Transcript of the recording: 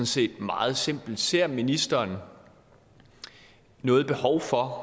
set meget simpelt ser ministeren noget behov for